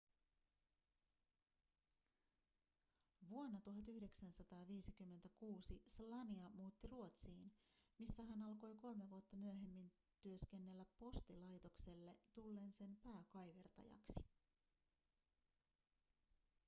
vuonna 1956 słania muutti ruotsiin missä hän alkoi kolme vuotta myöhemmin työskennellä postilaitokselle tullen sen pääkaivertajaksi